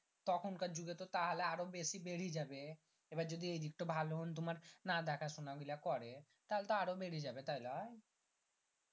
তখন কার যুগে তো তাহলে আরো বেশি বিরহী যাবে এবার যদি এই দিক তো ভালো হুং তোমার না দেখা শুনা গীলা করে তাহলে তো আরো বিরহী যাবে তাই লয়